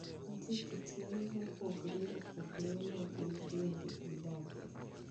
Nitie kit yien mopogore opogore ma gin bende gidagie.